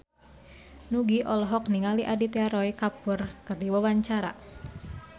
Nugie olohok ningali Aditya Roy Kapoor keur diwawancara